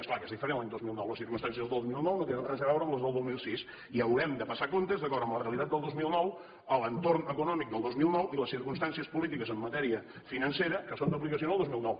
és clar que és diferent l’any dos mil nou les circumstàncies del dos mil nou no tenen res a veure amb les del dos mil sis i haurem de passar comptes d’acord amb la realitat del dos mil nou l’entorn econòmic del dos mil nou i les circumstàncies polítiques en matèria financera que són d’aplicació en el dos mil nou